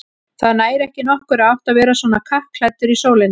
Það nær ekki nokkurri átt að vera svona kappklæddur í sólinni